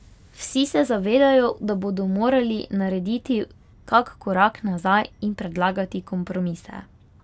Vsi se zavedajo, da bodo morali narediti kak korak nazaj in predlagati kompromise.